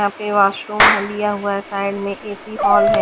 हाँ पे वाशरूम लिया हुआ है साइड में ए सी हॉल है।